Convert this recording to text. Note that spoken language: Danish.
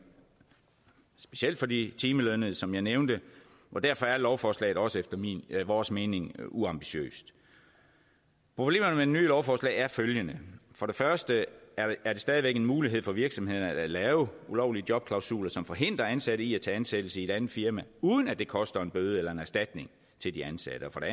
specielt for de timelønnede som jeg nævnte og derfor er lovforslaget også efter vores mening uambitiøst problemerne med lovforslag er følgende for det første er der stadig væk mulighed for virksomhederne for at lave ulovlige jobklausuler som forhindrer ansatte i at tage ansættelse i et andet firma uden at det koster en bøde eller en erstatning til de ansatte og for